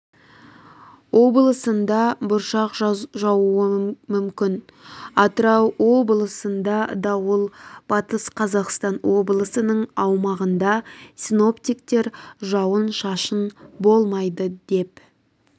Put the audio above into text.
облысында бұршақ жауы мүмкін атырау облысында дауыл батыс қазақстан облысының аумағында синоптиктер жауын-шашын болмайды деп